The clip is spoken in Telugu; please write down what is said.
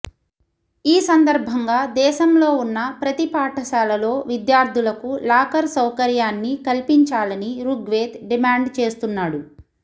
ఈ సందర్భంగా దేశంలో ఉన్న ప్రతి పాఠశాలలో విద్యార్థులకు లాకర్ సౌకర్యాన్ని కల్పించాలని రుగ్వేద్ డిమాండ్ చేస్తున్నాడు